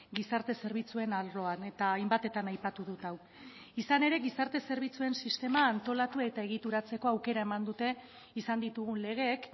gizarte zerbitzuen arloan eta hainbatetan aipatu dut hau izan ere gizarte zerbitzuen sistema antolatu eta egituratzeko aukera eman dute izan ditugun legeek